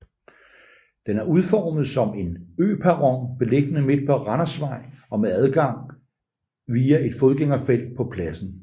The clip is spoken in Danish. Den er udformet som en øperron beliggende midt på Randersvej og med adgang via et fodgængerfelt på pladsen